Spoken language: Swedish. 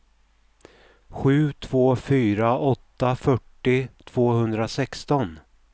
sju två fyra åtta fyrtio tvåhundrasexton